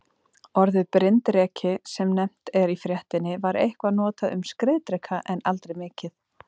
Orðið bryndreki, sem nefnt er í fréttinni, var eitthvað notað um skriðdreka en aldrei mikið.